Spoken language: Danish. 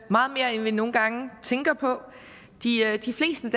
meget mere end vi nogle gange tænker på de fleste